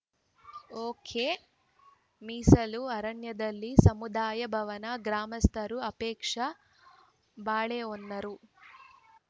ಒಕೆಮೀಸಲು ಅರಣ್ಯದಲ್ಲಿ ಸಮುದಾಯ ಭವನ ಗ್ರಾಮಸ್ಥರ ಆಕ್ಷೇಪ ಬಾಳೆಹೊನ್ನರು